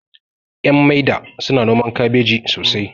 ƴan maida suna noman kabeji sosai